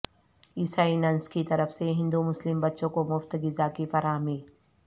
عیسائی ننس کی طرف سے ہندو مسلم بچوں کو مفت غذا کی فراہمی